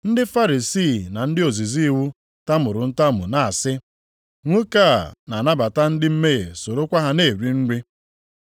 Ndị Farisii na ndị ozizi iwu tamuru ntamu na-asị, “Nwoke a na-anabata ndị mmehie sorokwa ha na-eri nri.”